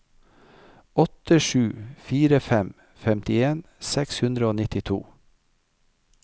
åtte sju fire fem femtien seks hundre og nittito